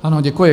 Ano, děkuji.